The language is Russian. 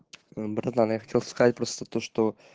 братан я хотел сказать просто то что